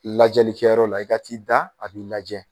Lajɛli kɛyɔrɔ la i ka t'i da a b'i lajɛ